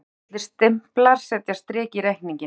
Dularfullir stimplar setja strik í reikninginn